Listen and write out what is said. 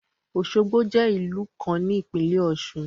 Osogbo je ìlú kan ní ìpílẹ̀ ọ̀ṣun.